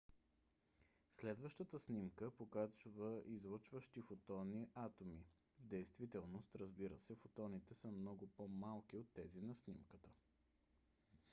следващата снимка показва излъчващи фотони атоми. в действителност разбира се фотоните са много по - малки от тези на снимката